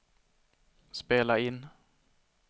spela in